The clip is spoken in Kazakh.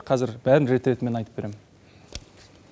қазір бәрін рет ретімен айтып берем